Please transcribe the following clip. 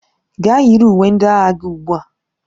Gaa yiri uwe ndị agha gị ugbu a!